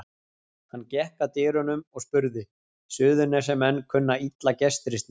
Hann gekk að dyrunum og spurði: Suðurnesjamenn kunna illa gestrisni.